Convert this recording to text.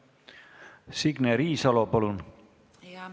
Signe Riisalo, palun!